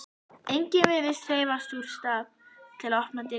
Enginn virðist hreyfast úr stað til að opna dyrnar.